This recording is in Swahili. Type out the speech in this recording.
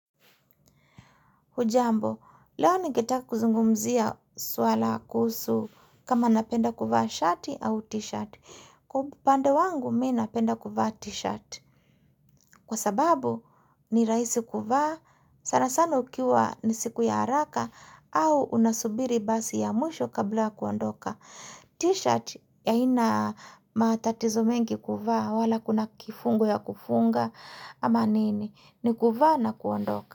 Hujambo, leo ningetaka kuzungumzia swala kuhusu kama napenda kuvaa shati au t-shirt. Kwa upande wangu, mi napenda kuvaa t-shirt. Kwa sababu, ni rahisi kuvaa, sana sana ukiwa ni siku ya haraka, au unasubiri basi ya mwisho kabla ya kuondoka. T-shirt, haina matatizo mengi kuvaa, wala hakuna kifungo ya kufunga, ama nini, ni kuvaa na kuondoka.